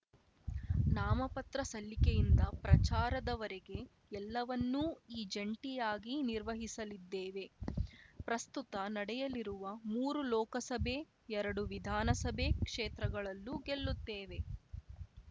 ನಾಮಪತ್ರ ಸಲ್ಲಿಕೆಯಿಂದ ಪ್ರಚಾರದವರೆಗೆ ಎಲ್ಲವನ್ನೂಈ ಜಂಟಿಯಾಗಿ ನಿರ್ವಹಿಸಲಿದ್ದೇವೆ ಪ್ರಸ್ತುತ ನಡೆಯಲಿರುವ ಮೂರು ಲೋಕಸಭೆ ಎರಡು ವಿಧಾನಸಭೆ ಕ್ಷೇತ್ರಗಳಲ್ಲೂ ಗೆಲ್ಲುತ್ತೇವೆ